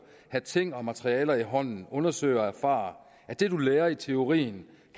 have ting og materialer i hånden undersøge og erfare at det du lærer i teorien